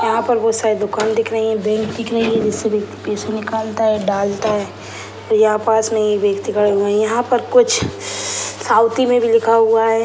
यहाँ पर बहुत सारे दुकान दिख रही हैं बैंक दिख रही हैं जिसमें पैसा निकलता है डालता है यहाँ पास में एक व्यक्ति खड़ा है यहाँ पे कुछ साउथी में भी लिखा हुआ है।